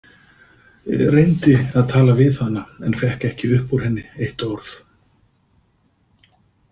Reyndi að tala við hana en fékk ekki upp úr henni eitt orð.